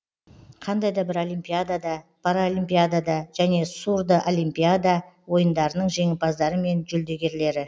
қандай да бір олимпиада паралимпиада және сурдоолимпиада ойындарының жеңімпаздары мен жүлдегерлері